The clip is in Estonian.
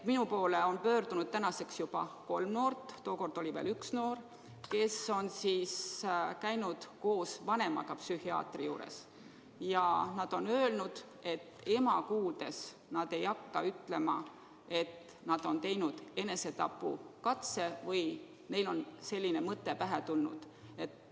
Minu poole on nüüdseks pöördunud juba kolm noort – tookord oli ainult üks noor –, kes on käinud koos vanemaga psühhiaatri juures, ja nad on öelnud, et ema kuuldes nad ei hakka ütlema, et nad on teinud enesetapukatse või neil on selline mõte pähe tulnud.